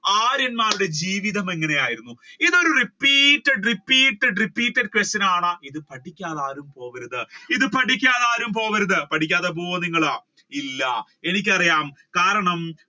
ആര്യന്മാരുടെ ജീവിതം എങ്ങനെ ആയിരുന്നു? ഇത് ഒരു repeated, repeated, repeated question ആണ് ഇത് പഠിക്കാതെ ആരും പോവരുത് ഇത് പഠിക്കാതെ ആരും പോവരുത് പഠിക്കാതെ പോകോ നിങ്ങൾ ഇല്ല എനിക്ക് അറിയാം കാരണം